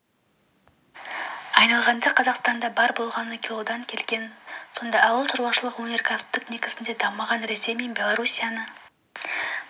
айналғанда қазақстанда бар болғаны килодан келген сонда ауыл шаруашылығы өнеркәсіптік негізде дамыған ресей мен белоруссияны